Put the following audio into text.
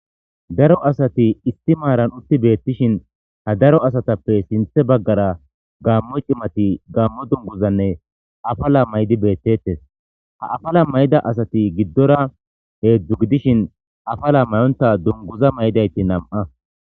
Daro asati istimaaran utti beettishin ha daro asatappe sinthe baggara gammo cimati gaammo dunguzanne afala may'di beettettes ha afala may'ida asati giddora heedzdzu gidishin afala mayonta dunguza mayidayti nam'a.